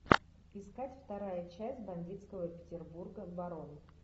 искать вторая часть бандитского петербурга барон